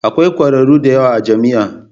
Akwai kwararru da yawa a jami'a.